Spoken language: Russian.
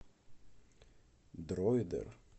дройдер